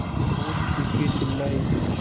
बहुत चीखेचिल्लाये